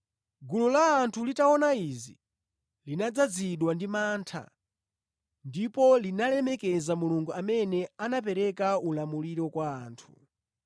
Gulu la anthu litaona izi, linadzazidwa ndi mantha ndipo linalemekeza Mulungu amene anapereka ulamuliro kwa anthu.